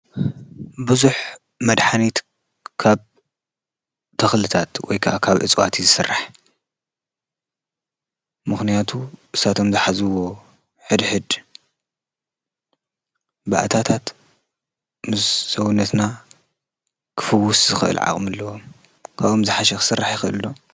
ብዙሕ መድሓኒት ካብ ተኽልታት ወይ ከዓ ካብ እፅዋት ይስራሕ። ምክንያቱ ንሳቶም ዝሓዝዎ ሕድሕድ ባእታት ምስ ሰዉነትና ክፍዉስ ዝኽእል ዓቕሚ አለዎም። ካብኦም ዝሓሸ ክስራሕ ይክእል ዶ?